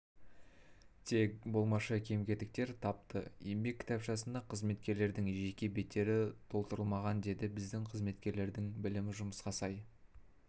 тек болмашы кем-кетіктер тапты еңбек кітапшасында қызметкерлердің жеке беттері толтырылмаған деді біздің қызметкерлердің білімі жұмысқа сай